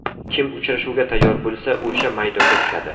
Kim uchrashuvga tayyor bo‘lsa o‘sha maydonga tushadi.